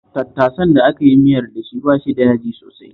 Tattasan da aka yi miyar da shi ba shi da yaji sosai